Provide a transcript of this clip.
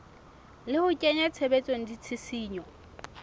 le ho kenya tshebetsong ditshisinyo